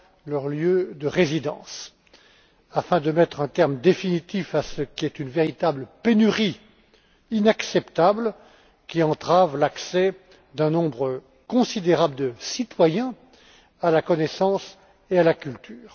leur lieu de résidence, afin de mettre un terme définitif à ce qui est une véritable pénurie inacceptable, qui entrave l'accès d'un nombre considérable de citoyens à la connaissance et à la culture.